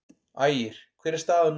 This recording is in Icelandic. Ægir: Hver er staðan núna?